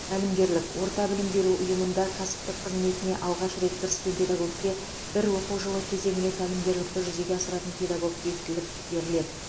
тәлімгерлік орта білім беру ұйымында кәсіптік қызметіне алғаш рет кіріскен педагогке бір оқу жылы кезеңіне тәлімгерлікті жүзеге асыратын педагог бекітіліп беріледі